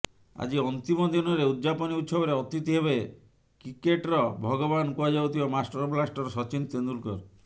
ଆଜି ଅନ୍ତିମ ଦିନରେ ଉଦଯାପନୀ ଉତ୍ସବରେ ଅତିଥି ହେବେ କ୍ରିକେଟ୍ର ଭଗବାନ କୁହାଯାଉଥିବା ମାଷ୍ଟର ବ୍ଲାଷ୍ଟର ସଚିନ ତେନ୍ଦୁଲକର